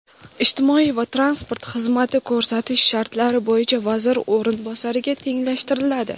ijtimoiy va transport xizmati ko‘rsatish shartlari bo‘yicha vazir o‘rinbosariga tenglashtiriladi.